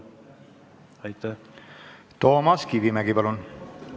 Toomas Kivimägi, palun!